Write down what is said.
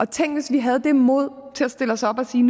tænk hvis vi havde det mod til at stille os op og sige